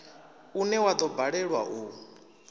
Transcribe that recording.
une wa do balelwa u